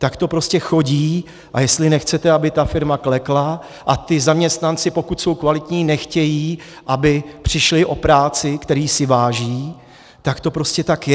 Tak to prostě chodí, a jestli nechcete, aby ta firma klekla, a ti zaměstnanci, pokud jsou kvalitní, nechtějí, aby přišli o práci, které si váží, tak to prostě tak je.